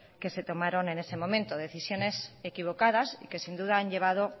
que se tomaron en ese momento decisiones equivocadas y que sin duda han llevado